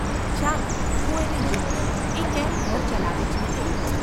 ચાલ હું એને જોઉં, એ કેમ ઘર ચલાવે છે તે.